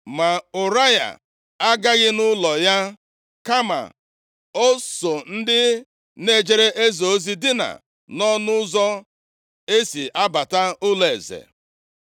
Ma Ụraya agaghị nʼụlọ ya. Kama o so ndị na-ejere eze ozi dinaa nʼọnụ ụzọ e si abata ụlọeze.